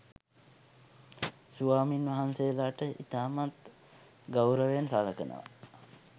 ස්වාමින්වහන්සේලට ඉතාමත් ගෞරවයෙන් සලකනවා.